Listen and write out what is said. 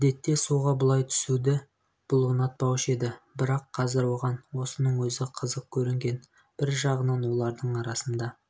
әдетте суға бұлай түсуді бұл ұнатпаушы еді бірақ қазір оған осының өзі қызық көрінген бір жағынан олардың арасында